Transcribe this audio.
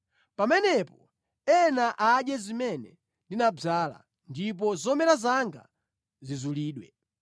Pamenepo ena adye zimene ndinadzala, ndipo zomera zanga zizulidwe.